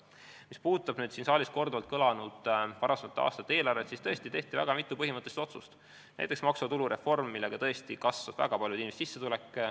Mis puudutab siin saalis korduvalt mainitud varasemate aastate eelarvet, siis tõesti tehti väga mitu põhimõttelist otsust, näiteks maksuvaba tulu reform, mille tõttu kasvas väga paljude inimeste sissetulek.